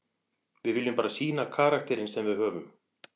Við viljum bara sýna karakterinn sem við höfum.